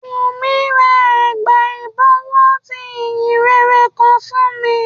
Wùmí ra ẹ̀gbà ìbọ̀wọ́ ti ìhìnrere kan fún mi